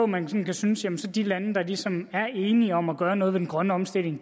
man kan synes at de lande der ligesom er enige om at gøre noget ved den grønne omstilling